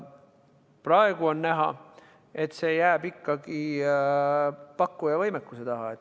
Praegu on näha, et see jääb ikkagi pakkuja võimekuse taha.